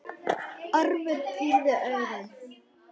Ormur pírði augun.